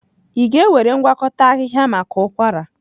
Ị ga-ewere ngwakọta ahịhịa maka ụkwara?